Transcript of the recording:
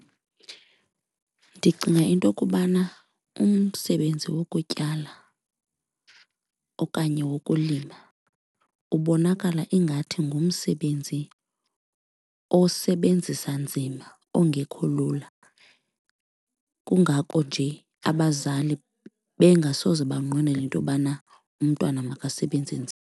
Ndicinga into okubana umsebenzi wokutyala okanye wokulima ubonakala ingathi ngumsebenzi osebenzisa nzima, ongekho lula, kungako nje abazali bengasoze banqwenele intobana umntwana makasebenze nzima.